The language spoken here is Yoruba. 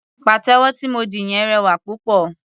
Pàtẹ́wọ́ tí mo dì yẹn rẹwà púpọ̀.